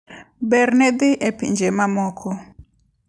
Berne dhi e pinje mamoko.